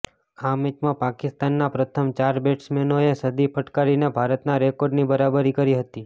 આ મેચમાં પાકિસ્તાનના પ્રથમ ચાર બેટ્સમેનોએ સદી ફટકારીને ભારતના રેકોર્ડની બરાબરી કરી હતી